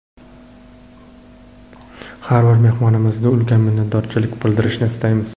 Har bir mehmonimizga ulkan minnatdorlik bildirishni istaymiz!